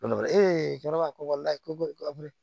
cɛkɔrɔba ko la ko